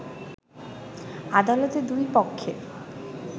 আদালতে দুই পক্ষের